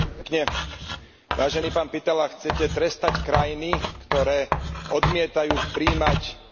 Vážený pán Pittela, chcete trestať krajiny, ktoré odmietajú prijímať migrantov.